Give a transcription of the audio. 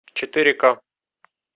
четыре к